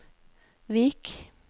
Vik